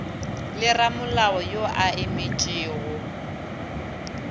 le ramolao yo a emetšego